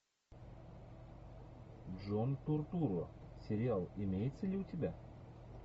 джон туртурро сериал имеется ли у тебя